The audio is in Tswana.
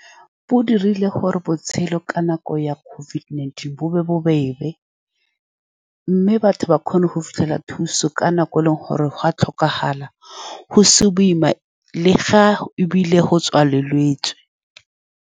Bo dirile gore botshelo ka nako ya COVID-19 bo be bobebe, mme batho ba kgone go fitlhela thuso ka nako e e leng gore go a tlhokagala, go se boima le fa ebile go tswaletswe.